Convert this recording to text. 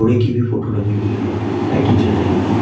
की भी फोटो लगी हुई है लाइटे जल रही है।